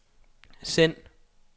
send